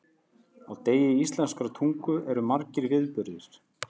Á degi íslenskrar tungu eru margir viðburðir.